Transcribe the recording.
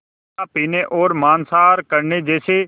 शराब पीने और मांसाहार करने जैसे